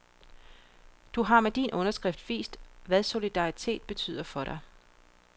Du har med din underskrift vist, hvad solidaritet betyder for dig.